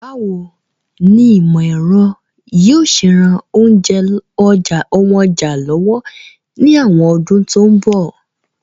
Báwoni ìmọ̀ èro yio se ran síse ounja lọ́wọ́ ni àwon odún to n bọ̀